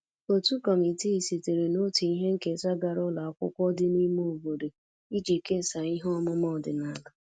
Otu kọmitii sitere na otu ihe nketa gara ụlọ akwụkwọ dị n'ime obodo iji kesaa ihe ọmụma ọdịnala